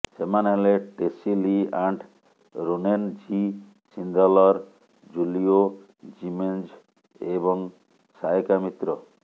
ସେମାନେ ହେଲେ Tessy Lee Ant Ronen G Sindler Julio Jimenez ଏବଂ ସାୟକା ମିତ୍ର